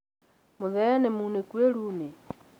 Mũthee nĩ mũnĩkũ irũinĩ